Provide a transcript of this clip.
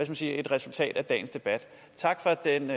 jeg sige et resultat af dagens debat tak for den